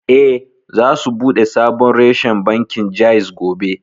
Eh, za su buɗe sabon reshen bankin Jaiz gobe